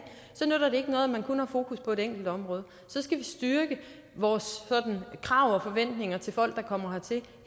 ikke noget at man kun har fokus på et enkelt område så skal vi styrke vores krav og forventninger til folk der kommer hertil